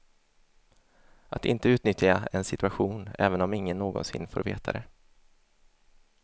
Att inte utnyttja en situation, även om ingen någonsin får veta det.